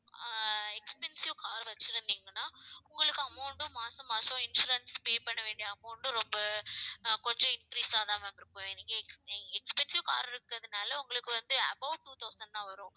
ஆஹ் expensive car வச்சிருந்தீங்கன்னா உங்களுக்கு amount உம் மாசம் மாசம் insurance pay பண்ண வேண்டிய amount ம் ரொம்ப ஆஹ் கொஞ்சம் increase ஆ ma'am இருக்கும் expensive car இருக்கிறதுனால உங்களுக்கு வந்து above two thousand தான் வரும்